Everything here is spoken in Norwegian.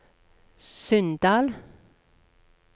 Sunndal